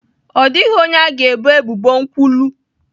Ọ dịghị onye a ga-ebo ebubo nkwulu!